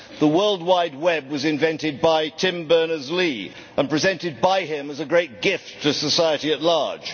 The World Wide Web was invented by Tim Berners Lee and presented by him as a great gift to society at large.